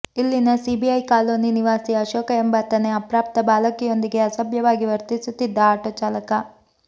ಇಲ್ಲಿನ CIB colony ನಿವಾಸಿ ಅಶೋಕ ಎಂಬಾತನೇ ಅಪ್ರಾಪ್ತ ಬಾಲಕಿಯೊಂದಿಗೆ ಅಸಭ್ಯವಾಗಿ ವರ್ತಿಸುತ್ತಿದ್ದ ಆಟೋ ಚಾಲಕ